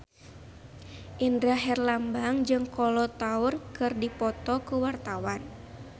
Indra Herlambang jeung Kolo Taure keur dipoto ku wartawan